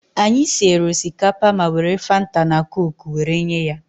Anyị siere osikapa ma were Fanta na koku were nye ya.